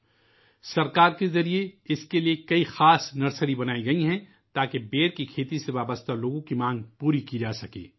اس کے لئے حکومت کی طرف سے بہت ساری خصوصی نرسریاں بنائی گئی ہیں تاکہ بیر کی کاشت سے وابستہ لوگوں کی مانگ پوری کی جاسکے